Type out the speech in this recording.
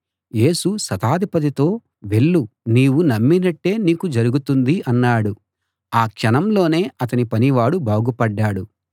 యేసు శతాధిపతితో వెళ్ళు నీవు నమ్మినట్టే నీకు జరుగుతుంది అన్నాడు ఆ క్షణంలోనే అతని పనివాడు బాగుపడ్డాడు